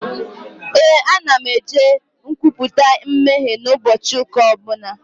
Ee, ana m eje nkwupụta mmehie n'ụbọchị ụka ọbụla